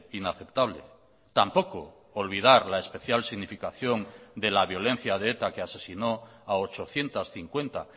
inaceptable tampoco olvidar la especial significación de la violencia de eta que asesinó a ochocientos cincuenta